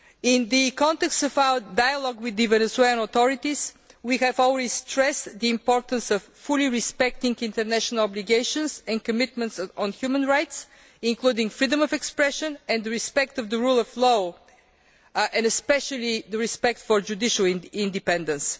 In the context of our dialogue with the Venezuelan authorities, we have always stressed the importance of fully respecting international obligations and commitments on human rights, including freedom of expression, respect for the rule of law and especially respect for judicial independence.